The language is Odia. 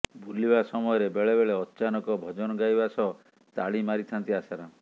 ବୁଲିବା ସମୟରେ ବେଳେବେଳେ ଅଚାନକ ଭଜନ ଗାଇବା ସହ ତାଳି ମାରିଥାନ୍ତି ଆଶାରାମ